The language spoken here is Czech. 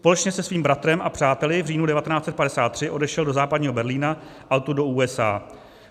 Společně se svým bratrem a přáteli v říjnu 1953 odešel do Západního Berlína a odtud do USA.